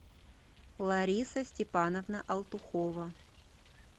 лариса степановна алтухова